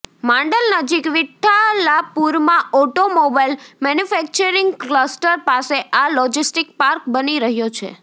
માંડલ નજીક વિઠ્ઠલાપૂરમાં automobile manufacturing cluster પાસે આ લોજીસ્ટીક પાર્ક બની રહયો છે